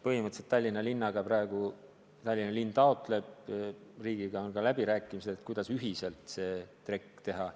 Põhimõtteliselt Tallinna linnal on praegu riigiga läbirääkimised, kuidas ühiselt see trekk teha.